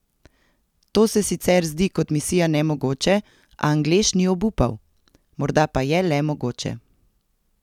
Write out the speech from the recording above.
To se sicer zdi kot misija nemogoče, a Anglež ni obupal: "Morda pa je le mogoče.